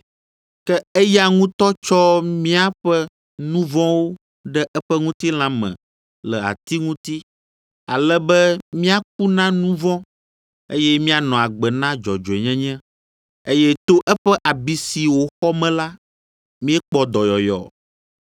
Ke eya ŋutɔ tsɔ míaƒe nu vɔ̃wo ɖe eƒe ŋutilã me le ati ŋuti, ale be míaku na nu vɔ̃, eye míanɔ agbe na dzɔdzɔenyenye, eye to eƒe abi si wòxɔ me la, míekpɔ dɔyɔyɔ.